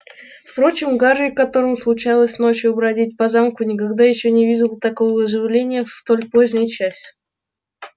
впрочем гарри которому случалось ночью бродить по замку никогда ещё не видел такого оживления в столь поздний час